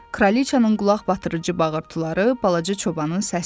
Kralıcanın qulaqbatırıcı bağırtıları balaca çobanın səsidir.